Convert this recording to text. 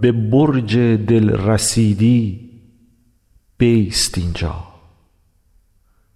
به برج دل رسیدی بیست این جا